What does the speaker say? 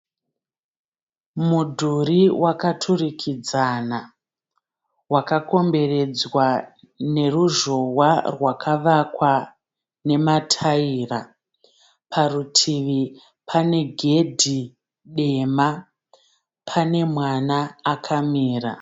Mudhuri wakaturikidzana, wakakomberedzwa neruzhowa rwakavakwa nemataira. Parutivi pane gedhi dema pane mwana akamira.